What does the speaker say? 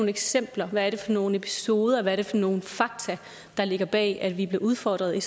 eksempler hvad er det for nogen episoder hvad er det for nogen fakta der ligger bag at vi bliver udfordret i